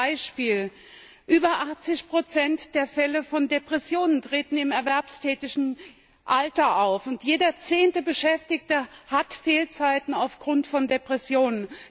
Nur ein Beispiel Über 80 der Fälle von Depressionen treten im erwerbstätigen Alter auf. Jeder zehnte Beschäftigte hat Fehlzeiten aufgrund von Depressionen.